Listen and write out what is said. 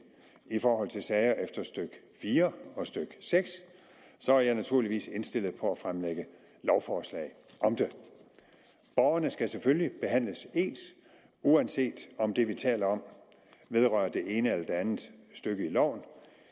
i forhold til sager efter stykke fire og stykke seks så er jeg naturligvis indstillet på at fremlægge lovforslag om det borgerne skal selvfølgelig behandles ens uanset om det vi taler om vedrører det ene eller det andet stykke i loven